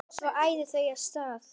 Svo æða þau af stað.